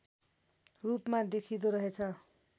रूपमा देखिँदो रहेछ